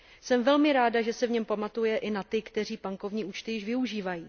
Jsem velmi ráda, že se v něm pamatuje i na ty, kteří bankovní účty již využívají.